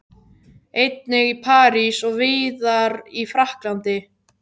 Einnig í París og víðar í Frakklandi.